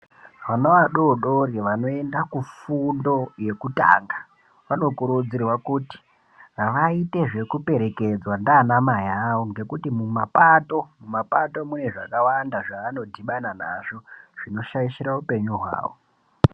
Vana vadodori vanoenda kufundo yekutanga vanokurudzirwa kuti vaite zvekuoerekedzwa ndiana mai awo ngekuti mumapato mune zvakawanda zvaanodhibana nazvo zvinoshaishira upenyu hwawo.